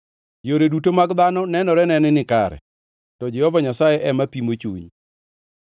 Yore duto mag dhano nenorene ni nikare, to Jehova Nyasaye ema pimo chuny.